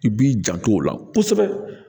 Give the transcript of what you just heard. I b'i jan to o la kosɛbɛ